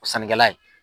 O sannikɛla ye